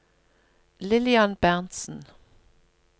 Lillian Berntzen